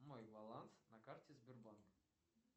мой баланс на карте сбербанка